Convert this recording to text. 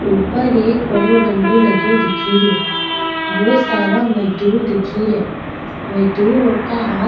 ऊपर एक बड़ो डाँडो लगो दिखेरो बहुत सारा मजदुर दिखे रा मजदूर ओ का हाथ --